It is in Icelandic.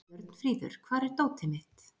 Björnfríður, hvar er dótið mitt?